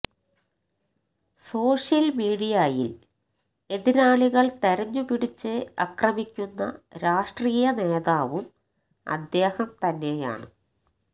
social മീഡിയയില് എതിരാളികള് തെരഞ്ഞ് പിടിച്ച് അക്രമിക്കുന്ന രാഷ്ട്രീയ നേതാവും അദ്ദേഹം തന്നെയാണ്